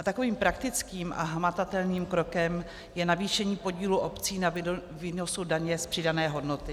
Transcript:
A takovým praktickým a hmatatelným krokem je navýšení podílu obcí na výnosu daně z přidané hodnoty.